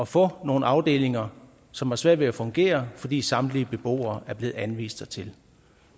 få nogle afdelinger som har svært ved at fungere fordi samtlige beboere er blevet anvist dertil